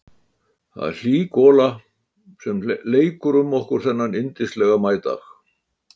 Það er hlý gola sem leikur um okkur þennan yndislega maídag.